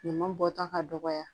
Ɲaman bɔta ka dɔgɔya